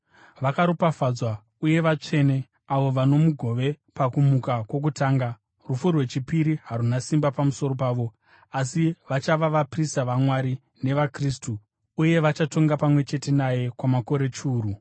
Vakaropafadzwa uye vatsvene, avo vano mugove pakumuka kwokutanga. Rufu rwechipiri haruna simba pamusoro pavo, asi vachava vaprista vaMwari nevaKristu uye vachatonga pamwe chete naye kwamakore chiuru.